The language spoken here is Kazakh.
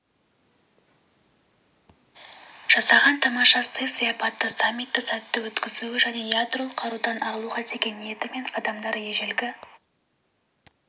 жасаған тамаша сый-сияпаты саммитті сәтті өткізуі және ядролық қарудан арылуға деген ниеті мен қадамдары ежелгі